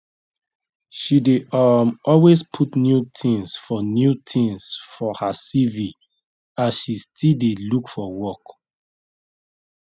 she dey um always put new things for new things for her cv as she still dey look for work